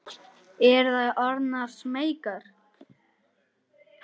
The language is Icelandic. Eru þær orðnar smeykar?